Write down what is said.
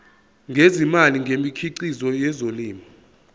ngezimali ngemikhiqizo yezolimo